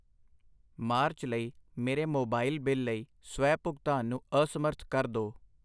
March ਲਈ ਮੇਰੇ mobile bill ਲਈ ਸਵੈ ਭੁਗਤਾਨ ਨੂੰ ਅਸਮਰੱਥ ਕਰ ਦੋ।